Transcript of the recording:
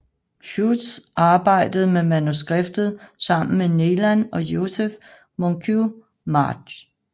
Hughes arbejdede med manuskriptet sammen med Neilan og Joseph Moncure March